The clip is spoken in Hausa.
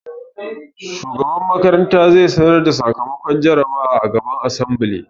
Shugaban makaranta zai sanar da sakamakon jarabawar a gaban asambile